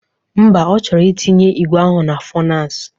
Mba, ọ chọrọ itinye igwe ahụ na fọnans